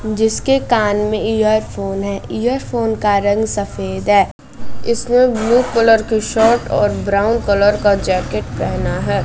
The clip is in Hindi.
जिसके कान मे इयरफोन है इयरफोन का रंग सफेद है इसने ब्लू कलर की शर्ट और ब्राउन कलर की जैकेट पहना है।